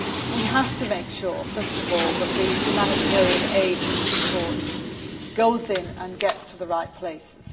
We have to make sure, first of all, that the humanitarian aid and support goes in and gets to the right places.